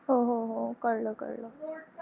हो हो हो कळल कळल.